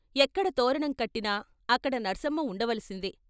ఎక్కడ తోరణం కట్టినా అక్కడ నర్సమ్మ ఉండవలసిందే.